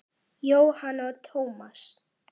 Jóhanna og Tómas.